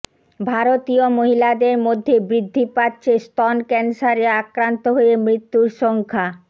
ভারতীয় মহিলাদের মধ্যে বৃদ্ধি পাচ্ছে স্তন ক্যান্সারে আক্রান্ত হয়ে মৃত্যুর সংখ্যা